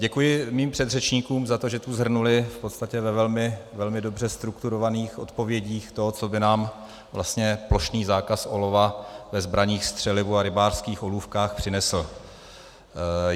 Děkuji svým předřečníkům za to, že tu shrnuli v podstatě ve velmi dobře strukturovaných odpovědích to, co by nám vlastně plošný zákaz olova ve zbraních, střelivu a rybářských olůvkách přinesl.